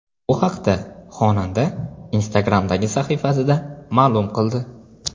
Bu haqda xonanda Instagram’dagi sahifasida ma’lum qildi .